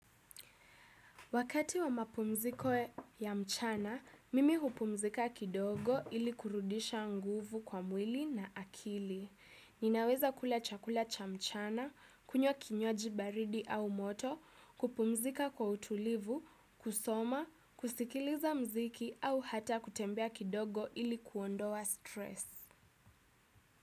Wakati wa mapumziko ya mchana, mimi hupumzika kidogo ili kurudisha nguvu kwa mwili na akili. Ninaweza kula chakula cha mchana, kunywa kinywaji baridi au moto, kupumzika kwa utulivu, kusoma, kusikiliza muziki au hata kutembea kidogo ili kuondoa stress.